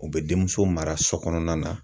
U bɛ denmuso mara so kɔnɔna na